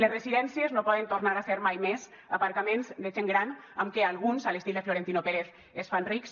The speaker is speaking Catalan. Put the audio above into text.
les residències no poden tornar a ser mai més aparcaments de gent gran amb què alguns a l’estil de florentino pérez es fan rics